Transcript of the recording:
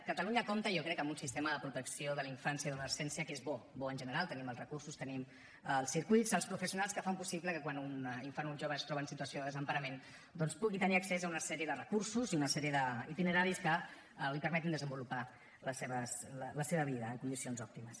catalunya compta jo crec amb un sistema de protecció de la infància i de l’adolescència que és bo bo en general tenim els recursos tenim els circuits els professionals que fan possible que quan un infant o un jove es troba en situació de desemparament doncs pugui tenir accés a una sèrie de recursos i a una sèrie d’itineraris que li permetin desenvolupar la seva vida en condicions òptimes